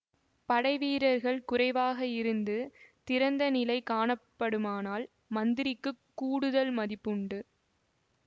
படைவீரர்கள் குறைவாக இருந்து திறந்த நிலை காணப்படுமானால் மந்திரிக்குக் கூடுதல் மதிப்பு உண்டு